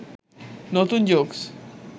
নতুন জোকস